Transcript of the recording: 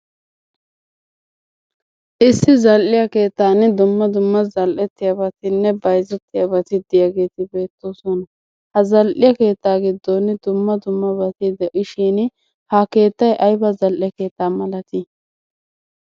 Issi zal"iyaa keettan dumma dumma zal"ertiyaabatinne bayzzetiyaabati diyaageeti beettoosona. Ha zal"iya keetta giddon dumma dummabati de'ishin. Ha keettay aybba zal"e keetta malati?